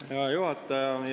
Hea juhataja!